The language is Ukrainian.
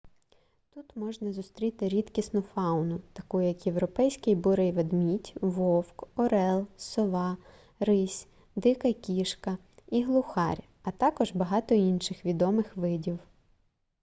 тут можна зустріти рідкісну фауну таку як європейський бурий ведмідь вовк орел сова рись дика кішка і глухар а також багато інших відомих видів